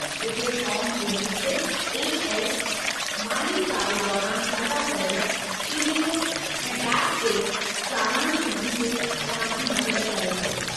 हिते फॉर्मु 26 A. S., माली साल दौरानि अदा कयल टी. डी. एस. ऐं टैक्स जे सारांश मंझि तव्हां जी मदद करे थो।